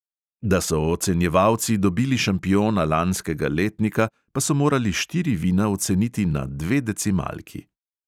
Da so ocenjevalci dobili šampiona lanskega letnika, pa so morali štiri vina oceniti na dve decimalki.